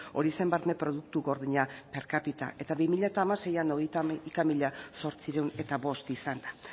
hori zen barne produktu gordina per capita eta bi mila hamaseian hogeita hamaika mila zortziehun eta bost izan da